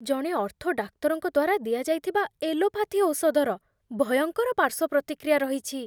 ଜଣେ ଅର୍ଥୋ ଡାକ୍ତରଙ୍କ ଦ୍ୱାରା ଦିଆଯାଇଥିବା ଏଲୋପାଥି ଔଷଧର ଭୟଙ୍କର ପାର୍ଶ୍ୱ ପ୍ରତିକ୍ରିୟା ରହିଛି।